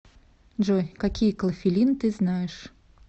джой какие клофелин ты знаешь